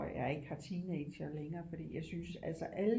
At jeg ikke har teenagere længere fordi jeg synes altså alle